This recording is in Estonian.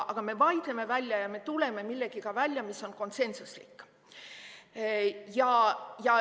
Aga me vaidleme ja tuleme millegagi välja, mis on konsensuslik.